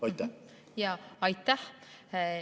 Aitäh!